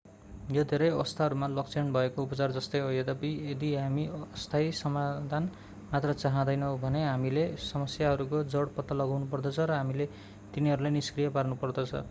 यो धेरै अवस्थाहरूमा लक्षण भएको उपचार जस्तै हो यद्यपि यदि हामी अस्थायी समाधान मात्र चाहँदैनौँ भने हामीले समस्याहरूको जड पत्ता लगाउनुपर्दछ र हामीले तिनीहरूलाई निष्क्रिय पार्नुपर्दछ